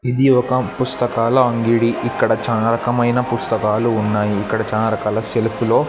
ఇది ఒక పుస్తకాల అంగడి ఇక్కడ చాలా రకమైన పుస్తకాలు ఉన్నాయి ఇక్కడ చాలా రకాల సెల్ఫ్ లో --